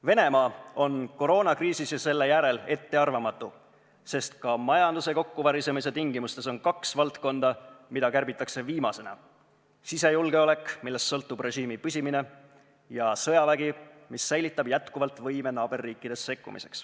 Venemaa on koroonakriisis ja selle järel ettearvamatu, sest ka majanduse kokkuvarisemise tingimustes on kaks valdkonda, mida kärbitakse viimasena: sisejulgeolek, millest sõltub režiimi püsimine, ja sõjavägi, mis säilitab jätkuvalt võime naaberriikidesse sekkuda.